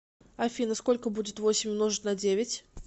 афина сколько будет восемь умножить на девять